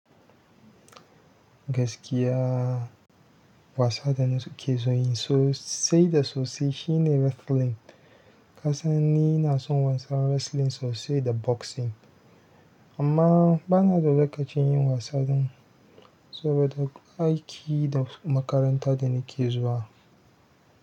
Gaskiya wasa da na ke son yin sosai da soso shi ne wrestling. Kasan ni na so wasa wrestling so sai da boxing amma bana da lokacin yin wasan. Saboda gun aiki da makaranta da nike zuwa.